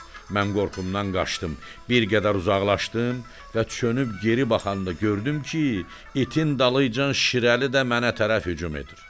Mən qorxumdan qaçdım, bir qədər uzaqlaşdım və çönüb geri baxanda gördüm ki, itin dalıcan şirəli də mənə tərəf hücum edir.